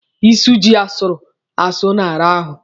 Ịsụ jị asụrụ asụ na-ara ahụ.